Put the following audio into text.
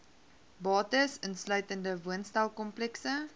bates insluitende woonstelkomplekse